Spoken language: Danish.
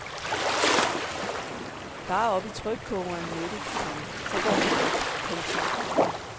Bare op i trykkogeren med det, komma så går det nok. punktum